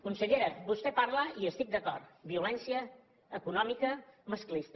consellera vostè parla de i hi estic d’acord violència econòmica masclista